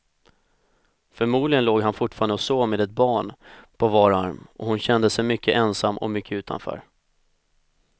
Förmodligen låg han fortfarande och sov med ett barn på var arm, och hon kände sig mycket ensam och mycket utanför.